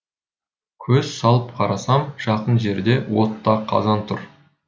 көз салып қарасам жақын жерде отта қазан тұр